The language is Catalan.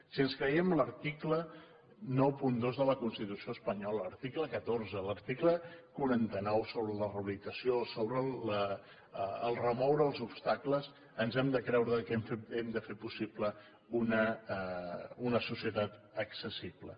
si ens creiem l’article noranta dos de la constitució espanyola l’article catorze l’article quaranta nou sobre la rehabilitació sobre remoure els obstacles ens hem de creure que hem de fer possible una societat accessible